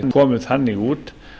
komið þannig út